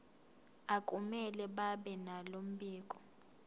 akumele babenalo mbiko